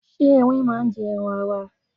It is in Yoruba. Ṣé Ẹrin máa ń jẹ ẹran ara?